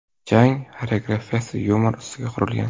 Jang xoreografiyasi yumor ustiga qurilgan.